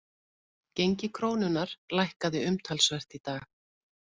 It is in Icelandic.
Gengi krónunnar lækkaði umtalsvert í dag